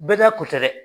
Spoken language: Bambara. Bɛɛ ka ko tɛ dɛ